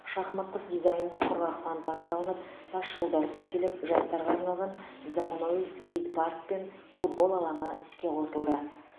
шахматтық дизайнда құрғақ фонтан салынып тасжолдар төселіп жастарға арналған заманауи скейт парк пен футбол алаңы іске қосылды